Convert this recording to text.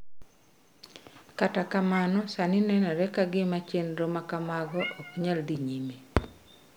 Kata kamano, sani nenore ka gima chenro ma kamago ok nyal dhi nyime.